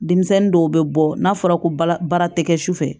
Denmisɛnnin dɔw bɛ bɔ n'a fɔra ko bara tɛ kɛ sufɛ